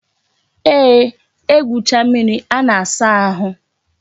Eeh, egwucha mmiri a na-asa ahụ